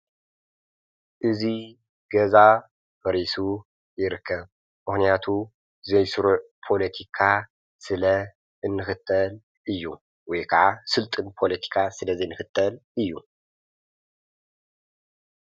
እዙይ ገዛ በሪሱ ይርከብ ምኽንያቱ ዘይሥሩዕ ፖለቲካ ስለ እንክተል እዩ ወይ ከዓ ሥልጥን ፖለቲካ ስለ ዘይንክተል እዩ።